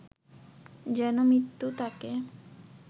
যেন মৃত্যু তাকে